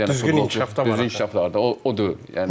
Yəni düzgün inkişaflardır. O o deyil.